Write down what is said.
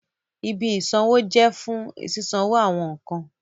Ìbí isanwo jẹ fún sisanwo awọn nkán